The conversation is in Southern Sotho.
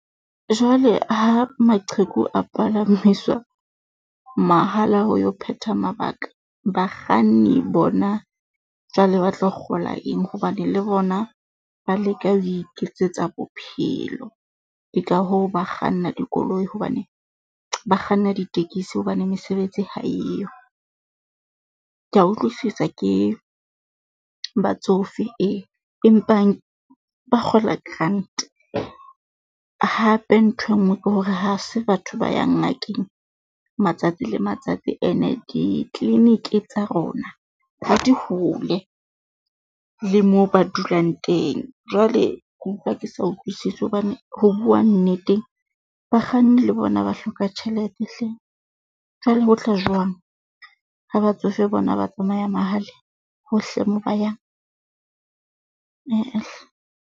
Jwale ha maqheku a palamiswa mahala ho yo phetha mabaka bakganni bona, jwale ba tlo kgola eng hobane le bona ba leka ho iketsetsa bophelo? Ke ka hoo ba kganna dikoloi hobane ba kganna ditekesi hobane mesebetsi ha eyo. Kea utlwisisa ke batsofe ee, empa ba kgola grant hape ntho e nngwe ke hore ha se batho ba yang ngakeng matsatsi le matsatsi ene, di-clinic tsa rona ha di hole le moo ba dulang teng. Jwale ke utlwa ke sa utlwisise hobane ho bua nnete, bakganni le bona ba hloka tjhelete hle, jwale ho tla jwang ha batsofe bona ba tsamaya mahala hohle moo ba yang? Eh-eh hle.